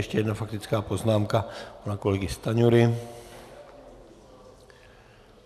Ještě jedna faktická poznámka pana kolegy Stanjury.